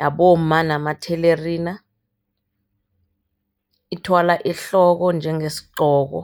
yabomma namathelerina, ithwalwa ehloko njengesingqoko.